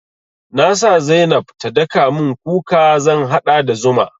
Na sa zainab ta daka mun kuka zan haɗa da zuma.